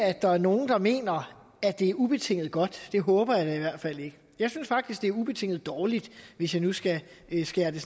at der er nogen der mener at det er ubetinget godt det håber jeg i hvert fald ikke jeg synes faktisk det er ubetinget dårligt hvis jeg nu skal skære det